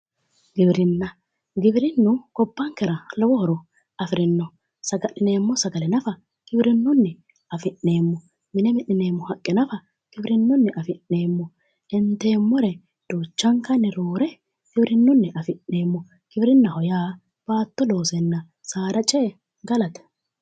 Giwirinna giwirinnu gobbankera lowo horo afirino saga'lineemmo sagale nafa giwirinnunni afi'neemmo mine mi'nineemmo haqqe nafa giwirinnunni afi'neemmo inteemmore duuchankare roore giwirinnunni afi'neemmo giwirinnaho yaa baatto loosenna saada ce"e galate